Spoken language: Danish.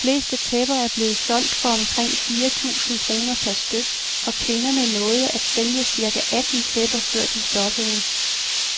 De fleste tæpper blevet solgt for omkring fire tusind kroner per styk, og kvinderne nåede at sælge cirka atten tæpper, før de stoppede.